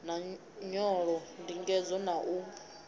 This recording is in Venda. na nyolo ndingedzo na u